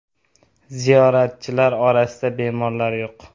Ziyoratchilar orasida bemorlar yo‘q.